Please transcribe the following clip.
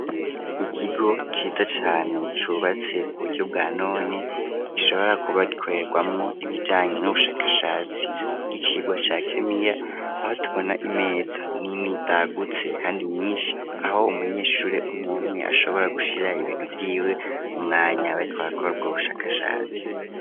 Ikigo ciza cane cubatse ku buryo bwa none, gishobora kuba gikorerwamwo ibijanye n'ubushakashatsi bw'icigwa ca Kimiya, aho tubona imeza nini zagutse kandi nyinshi aho umunyeshuri umw'umwe ashobora gushira ibintu vyiwe, mu mwanya bariko barakora ubushakashatsi.